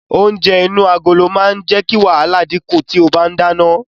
Oúnjẹ inú agolo máa jẹ́ kí wàhálà dínkù tí o bá ń dáná.